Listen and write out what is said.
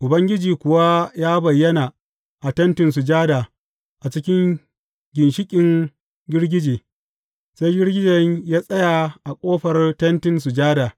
Ubangiji kuwa ya bayyana a Tentin Sujada a cikin ginshiƙin girgije, sai girgijen ya tsaya a ƙofar Tentin Sujada.